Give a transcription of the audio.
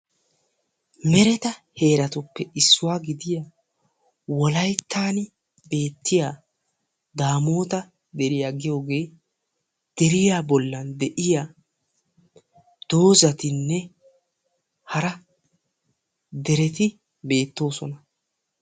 Mereta heeratuppe issuwaa gidiya wolayttan beettiyaa daamota deriyaa giyogee deriya bollan de'iya doozatinne hara dereti beettoosona.